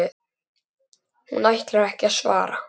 Hún ætlar ekki að svara.